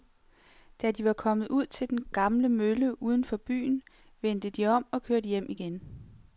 Da de var kommet ud til den gamle mølle uden for byen, vendte de om og kørte hjem igen.